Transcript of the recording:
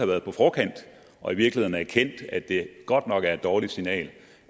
været på forkant og i virkeligheden have erkendt at det godt nok er et dårligt signal